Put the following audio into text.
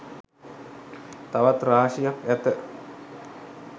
තවත් රාශියක් ඇති